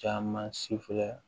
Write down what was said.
Caman si filɛ